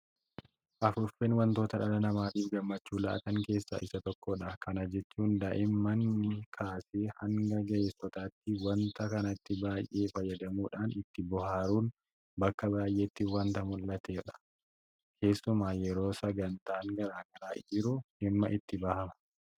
Afuuffeen waantota dhala namaatiif gammachuu laatan keessaa isa tokkodha. Kana jechuun daa'immanii kaasee hanga ga'eessotaatti waanta kanatti baay'ee fayyadamuudhaan ittiin bohaaruun bakka baay'eetti waanta mul'atudha. Keessumaa yeroo sagantaan garaa garaa jiru dhimma itti bahama.